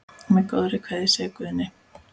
Með góðri kveðju, segir Guðni.